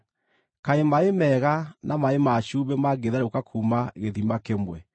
Kaĩ maaĩ mega na maaĩ ma cumbĩ mangĩtherũka kuuma gĩthima kĩmwe?